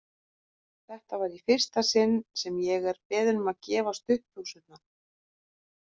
Þetta var í fyrsta sinn sem ég er beðinn um að gefa stuttbuxurnar!